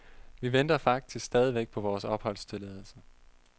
Vi venter faktisk stadigvæk på vores opholdstilladelse.